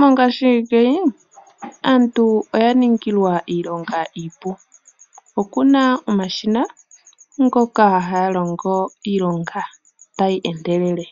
Mongaashingeyi aantu Iya ningilwa iilonga iipu. Okuna omashina ngoka haga longo iilonga tayi endelele.